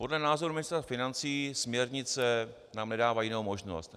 Podle názoru ministra financí směrnice nám nedávají jinou možnost.